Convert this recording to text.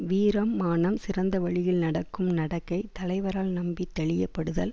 வீரம் மானம் சிறந்த வழியில் நடக்கும் நடக்கை தலைவரால் நம்பி தெளியப்படுதல்